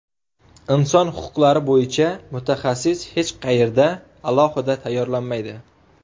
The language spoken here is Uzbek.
Inson huquqlari bo‘yicha mutaxassis hech qayerda alohida tayyorlanmaydi.